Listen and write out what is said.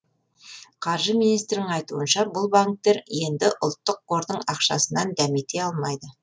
қаржы министрінің айтуынша бұл банктер енді ұлттық қордың ақшасынан дәмете алмайды